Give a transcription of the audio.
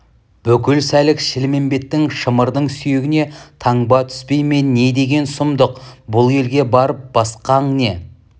бүкіл сәлік шілмембет шымырдың сүйегіне таңба түспей ме не деген сұмдық бұл елге барып басқаң не